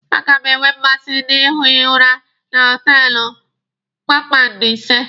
A ga m enwe mmasị na-ihi ụra na họtelụ kpakpando ise.